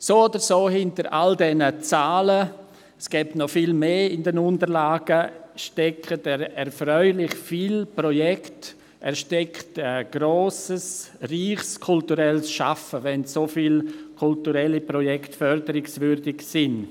So oder so: Hinter all diesen Zahlen – es gäbe in den Unterlagen noch viel mehr – stecken erfreulich viele Projekte und ein grosses, reiches kulturelles Schaffen, wenn so viele kulturelle Projekt förderungswürdig sind.